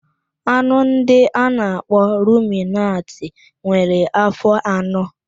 Anụ ndị a na-akpọ ruminantị nwere afọ anọ.